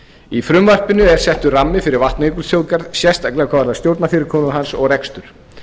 í frumvarpinu er settur rammi fyrir vatnajökulsþjóðgarð sérstaklega hvað varðar stjórnarfyrirkomulag hans og rekstur